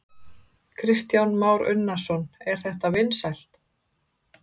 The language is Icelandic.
Kristján Már Unnarsson: Er þetta vinsælt?